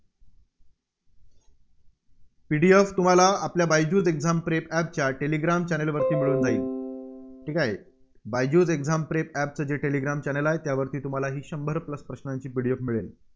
PDF तुम्हाला Byju's exam prep App च्या Telegram Channel वर मिळून जाईल. बायजूस exam prep app चं जे टेलेग्राम Channel आहे, त्यावरती तुम्हाला ही शंभर Plus प्रश्नांची PDF मिळेल.